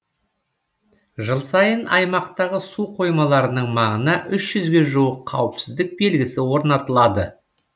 жыл сайын аймақтағы су қоймаларының маңына үш жүзге жуық қауіпсіздік белгісі орнатылады